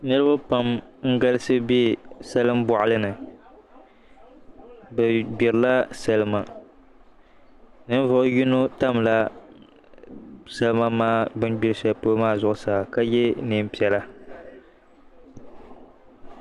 Niriba pam n-galisi be salim'bɔɣili ni bɛ gbirila salima ninvuɣ'yini tamla salima maa bɛ ni gbiri shɛli polo maa zuɣusaa ka ye nɛm'piɛla